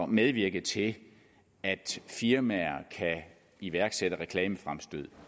medvirke til at firmaer kan iværksætte reklamefremstød